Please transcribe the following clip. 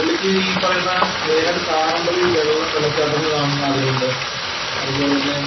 പുള്ളിക്ക് ഈ പറയുന്ന ഏതാണ്ട് കാണേണ്ടത് ഈ വെള്ളച്ചാട്ടങ്ങള് കാണുന്നതിനു ആഗ്രഹമുണ്ട്. അതുപോലെ തന്നെ